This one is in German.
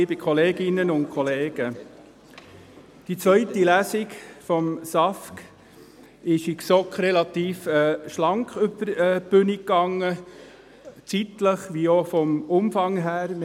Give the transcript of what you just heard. Die zweite Lesung des SAFG ging in der GSoK relativ schlank über die Bühne, zeitlich wie auch vom Umfang her.